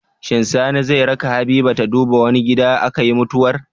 Shin Sani zai raka habiba ta duba wane gida akayi mutuwar